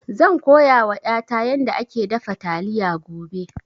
Zan koya wa ƴata yanda ake dafa taliya gobe